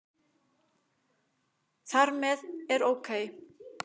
Þar með er OK!